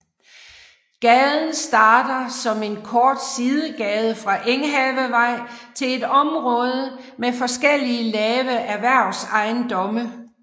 Gaden starter som en kort sidegade fra Enghavevej til et område med forskellige lave erhvervsejendomme